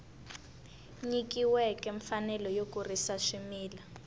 nyikiweke mfanelo yo kurisa swimila